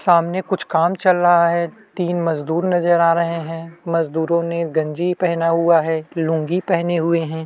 सामने कुछ काम चल रहा है तीनो मजदूर नज़र आ रहै हैं मजदूरों ने गंजी पहन हुआ है लुंगी पहने हुए हैं।